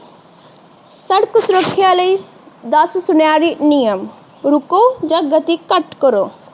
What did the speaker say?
ਸੜਕ ਸੁਰੱਖਿਆ ਲਈ ਦਸ ਸੁਥਰੇ ਨਿਯਮ ਰੁੱਕੋ ਜਾ ਗਤੀ ਘੱਟ ਕਰੋ